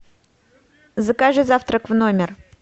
закажи завтрак в номер